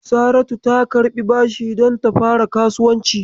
Saratu ta karɓi bashi don ta fara kasuwanci.